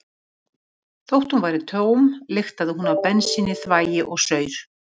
Þótt hún væri tóm lyktaði hún af bensíni, þvagi og saur.